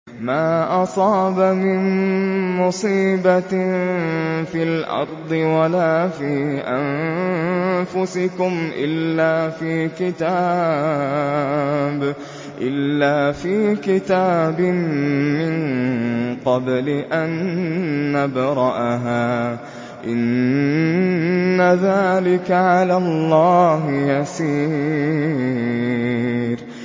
مَا أَصَابَ مِن مُّصِيبَةٍ فِي الْأَرْضِ وَلَا فِي أَنفُسِكُمْ إِلَّا فِي كِتَابٍ مِّن قَبْلِ أَن نَّبْرَأَهَا ۚ إِنَّ ذَٰلِكَ عَلَى اللَّهِ يَسِيرٌ